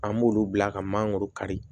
An b'olu bila ka mangoro kari